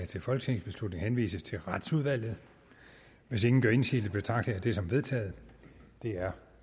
til folketingsbeslutning henvises til retsudvalget hvis ingen gør indsigelse betragter jeg det som vedtaget det er